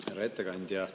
Härra ettekandja!